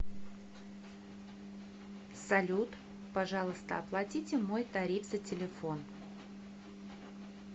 салют пожалуйста оплатите мой тариф за телефон